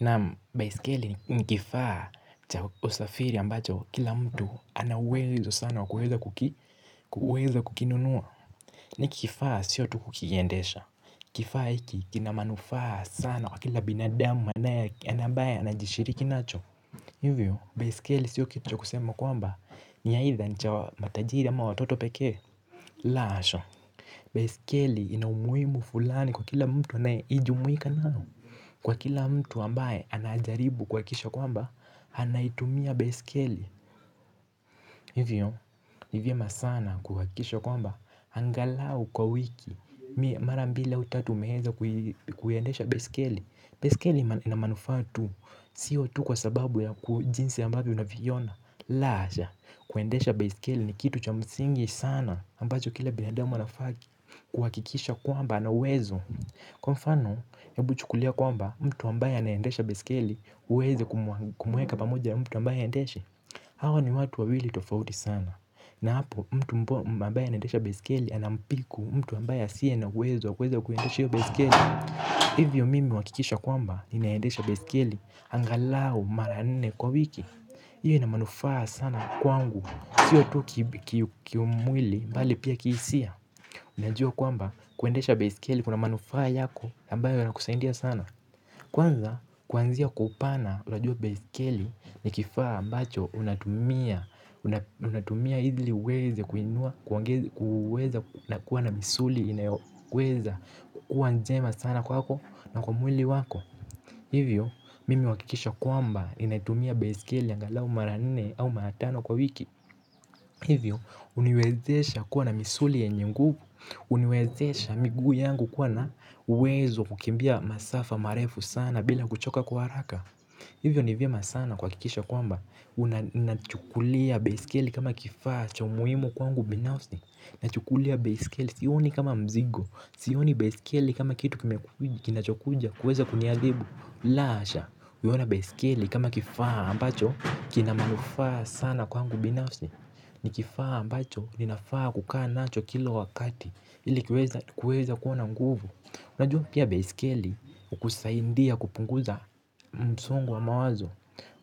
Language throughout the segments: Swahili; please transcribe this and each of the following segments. Naam baisikeli ni kifaa cha usafiri ambacho kila mtu anauwezo sana wakuweza kuki kuweza kukinunua. Ni kifaa siyo tu kukiendesha, kifaa hiki kinamanufaa sana kwa kila binadamu anaye na ambaye anajishiriki nacho. Hivyo baisikeli siyo kitu cha kusema kwamba ni aitha nicha wa matajiri ama watoto pekee. La hasha. Baiskeli ina umuhimu fulani kwa kila mtu anaye ijumuika nayo. Kwa kila mtu ambaye anajaribu kuhakisha kwamba, anaitumia baiskeli. Hivyo, hivyo masaa na kuhakisha kwamba angalau kwa wiki, mara mbili autatu umeeza kuiendesha baiskeli. Baiskeli ina manufaa tu, siyo tu kwa sababu ya kujinsi ambayo unavi ona. Lahasha, kuendesha baiskeli ni kitu cha msingi sana ambacho kila binadamu anafaa kuhakikisha kwamba ana uwezo. Kwa mfano ebu chukulia kwamba mtu ambaye anaendesha baiskeli uweze kumuweka pamoja mtu ambaye haendeshe. Hawa ni watu wawili tofauti sana. Na hapo mtu ambaye anaendesha baiskeli anampiku mtu ambaye asiye na uwezo wa kuweza kuendesha hio baiskeli. Hivyo mimi huhakikisha kwamba ninaendesha baiskeli angalau mara nne kwa wiki. Iyo ina manufaa sana kwangu. Siyo tu kiumwili mbali pia kihisia. Unajua kwamba kuendesha baiskeli kuna manufaa yako ambayo yanakusaidia sana. Kwanza kwanzia kwa upana unajua baiskeli ni kifaa ambacho unatumia. Unatumia idli uweze kuweza kuwa na misuli inayoweza kuwa njema sana kwako na kwa mwili wako. Hivyo mimi huhakikisha kwamba ninaitumia baiskeli angalau mara nne au mara tano kwa wiki. Hivyo uniwezesha kuwa na misuli yenye nguvu. Uniwezesha miguu yangu kuwa na uwezo kukimbia masafa marefu sana bila kuchoka kwa haraka. Hivyo ni vyema sana kuha kikisha kwamba unachukulia baiskeli kama kifaa cha umuhimu kwangu binafsi. Nachukulia baiskeli sioni kama mzigo. Sioni baiskeli kama kitu kime kina chokuja kuweza kuniadhibu. Lahasha, uiona baiskeli kama kifaa ambacho kina manufaa sana kwangu binafsi. Ni kifaa ambacho ninafaa kukaa nacho kila wakati ilikiweze kuweza kuwana nguvu. Unajua pia baiskeli ukusaindia kupunguza msongo wa mawazo.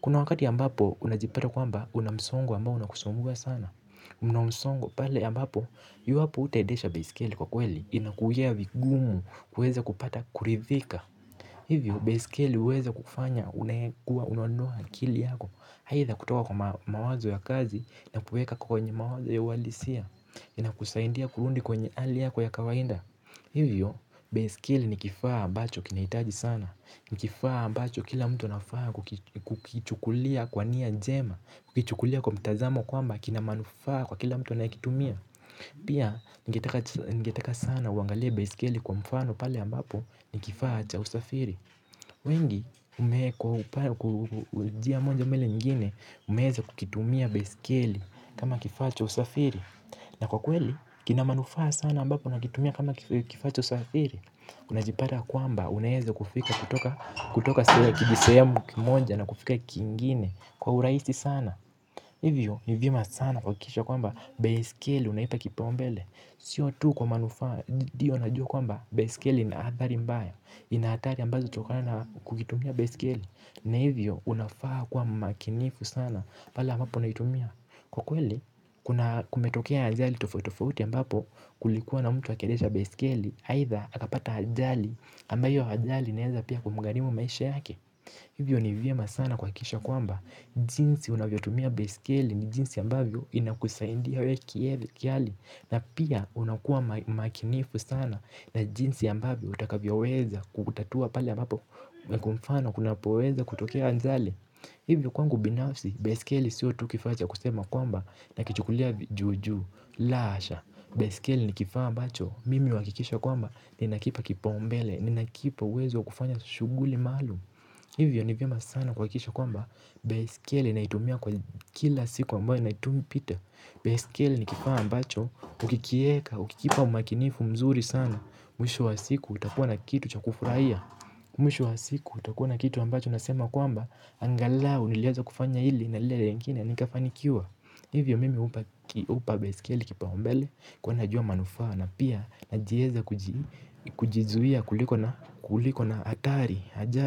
Kuna wakati ambapo unajipata kwamba unamsongo ambao unakusumbua sana. Mna msongo pale ambapo yuwapo utaendesha baiskeli kwa kweli inakuwia vigumu kuweza kupata kurithika. Hivyo, baiskeli uweza kufanya unayekuwa unanunua akili yako haitha kutoka kwa mawazo ya kazi na kuweka kwenye mawazo ya uhalisia ina kusaidia kurundi kwenye hali yako ya kawainda. Hivyo, baiskeli nikifaa ambacho kinahitaji sana. Nikifaa ambacho kila mtu anafaa kukichukulia kwania jema, kukichukulia kwa mtazamo kwamba kina manufaa kwa kila mtu anayekitumia. Pia ningetaka sana uangalie baiskeli kwa mfano pale ambapo ni kifaa cha usafiri. Wengi umeekwa kwa njia moja ama ile nyingine umeeza kukitumia baiskeli kama kifaacha usafiri. Na kwa kweli kina ma nufaa sana ambapo nakitumia kama kifaa cha usafiri. Unajipata kwamba unaeze kufika kutoka se kijisehemu kimoja na kufika kingine kwa uraisi sana. Hivyo ni vyema sana kuhakikisha kwamba baiskeli unaipa kipaumbele. Sio tu kwa manufaa ndiyo na jua kwamba baiskeli inaathari mbaya. Inahatari ambazo uchokana na kukitumia baiskeli. Na hivyo unafaa kuwa mmakinifu sana pale ambapo unaitumia. Kwa kweli kuna kumetokea ajali tofauti tofauti ambapo kulikuwa na mtu akiendesha baiskeli aitha akapata ajali ambayo hio ajali inaeza pia kumugarimu maisha yake. Hivyo ni vyema sana kuhakikisha kwamba, jinsi unavyo tumia baiskeli ni jinsi ambavyo inakusaidia wee ki eli kiali. Na pia unakuwa makinifu sana na jinsi ambavyo utakavyo weza kutatua pale a mbapo na kwa mfano kuna po weza kutokea ajali. Hivyo kwangu binafsi, baiskeli siyo tukifaa cha kusema kwamba na kichukulia juu juu. Lasha, baiskeli ni kifaa ambacho, mimi huhakikisha kwamba, ninakipa kipaumbele, ninakipa uwezo wa kufanya shughuli maalum. Hivyo ni vyema sana kuhakikisha kwamba baiskeli naitumia kwa kila siku ambayo naitumipita. Baiskeli nikifaa ambacho ukikieka, ukikipa umakinifu mzuri sana. Mwisho wa siku utakuwa na kitu chakufurahia. Mwisho wa siku utakuwa na kitu ambacho nasema kwamba angalau niliaza kufanya hili na lile lingine nikafanikiwa. Hivyo mimi upa baiskeli kipaumbele kuwa najua manufaa. Na pia najieza kujizuia kuliko na atari Hajar.